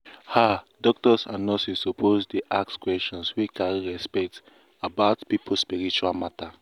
ah doctors and nurses suppose dey ask questions wey carry respect about people spiritual matter.